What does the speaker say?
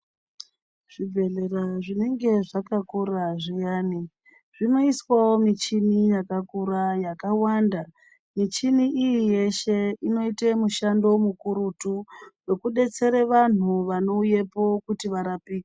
Zvibhedhlera zvinenge zvakakkurawo zviyani zvinoiswawo michini yakakura yakawanda michini iyi yeshe inoite mushando mukurutu wokubetsera vanhu vanouyepo kuti varapike.